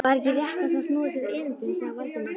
Væri ekki réttast að snúa sér að erindinu? sagði Valdimar.